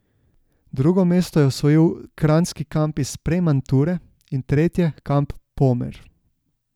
Drugo mesto je osvojil Kranjski kamp iz Premanture in tretje kamp Pomer.